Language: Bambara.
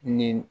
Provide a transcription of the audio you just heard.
Ni